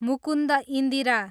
Mukund Indira